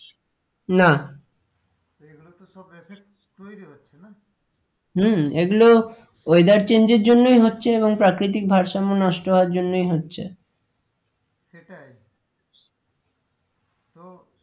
না এগুলো তো সব effect তৈরি হচ্ছে না হম এগুলো weather change এর জন্যই হচ্ছে এবং প্রাকৃতিক ভারসাম্য নষ্ট হওয়ার জন্যই হচ্ছে সেটাই তো